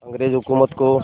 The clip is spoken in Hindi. अंग्रेज़ हुकूमत को